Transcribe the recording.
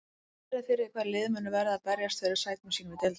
Sérðu fyrir þér hvaða lið munu verða að berjast fyrir sætum sínum í deildinni?